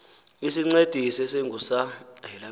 isincedisi esingu sa